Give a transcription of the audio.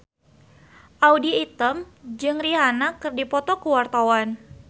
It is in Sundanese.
Audy Item jeung Rihanna keur dipoto ku wartawan